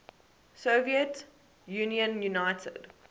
soviet union united